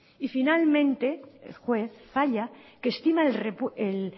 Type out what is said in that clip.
y finalmente el juez falla que estima el